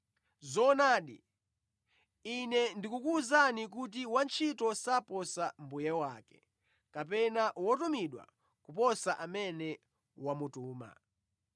Zoonadi, Ine ndikukuwuzani kuti wantchito saposa mbuye wake, kapena wotumidwa kuposa amene wamutuma.